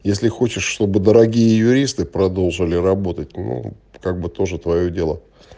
если хочешь чтобы дорогие юристы продолжали работать ну как бы тоже твоё дело